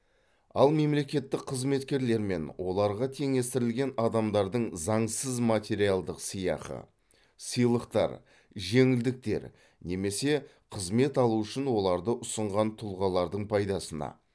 ал мемлекеттік қызметкерлер мен оларға теңестірілген адамдардың заңсыз материалдық сыйақы сыйлықтар жеңілдіктер немесе қызмет алу үшін оларды ұсынған тұлғалардың пайдасына